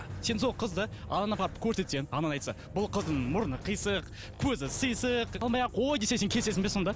сен сол қызды анаңа апарып көрсетсең анаң айтса бұл қыздың мұрны қисық көзі сисық алмай ақ қой десе сен келісесің бе сонда